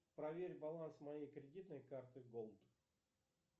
проверь баланс моей кредитной карты голд